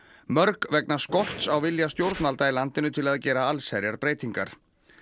mörg vegna skorts á vilja stjórnvalda í landinu til að gera allsherjarbreytingar